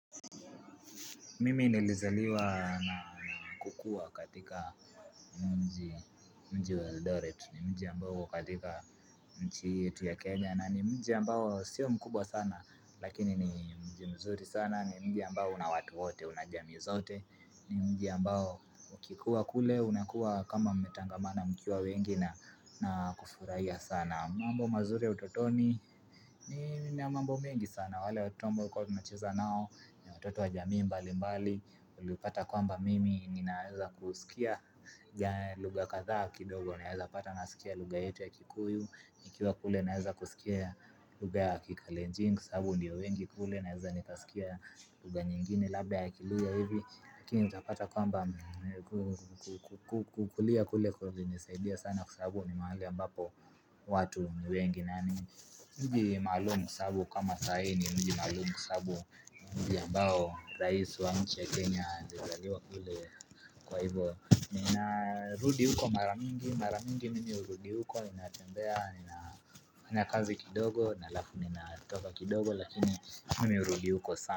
Mimi nilizaliwa na kukua katika mji mji wa eldoret ni mji ambao uko katika nchi hii yetu ya Kenya na ni mji ambao sio mkubwa sana lakini ni mji mzuri sana ni mji ambao una watu wote una jamii zote ni mji ambao ukikuwa kule unakuwa kama umetangamana mkiwa wengi na na kufurahia sana mambo mazuri ya utotoni nina mambo mingi sana wale watoto ambao tulikuwa tunacheza nao ya watoto wa jamii mbali mbali ulipata kwamba mimi ninaeza kusikia lugha kadha kidogo naeza pata nasikia lugha yetu ya kikuyu nikiwa kule naeza kusikia lugha ya kikalenjin kwa sababu ndiyo wengi kule naeza nikasikia lugha nyingine labda ya kiluhya hivi lakini utapata kwamba kukulia kule kulinisaidia sana kwansababu ni mahali ambapo watu ni wengi nani mji maalum kwa sulababu kama sahi ni mji maalumu kwa sababu mji ambao, rais wa nchi ya Kenya, alizaliwa kule kwa hivyo ninarudi huko maramingi, maramingi mimi hurudi huko, ninatembea, nifanya kazi kidogo alafu ninatoka kidogo, lakini mimi hurudi huko sana.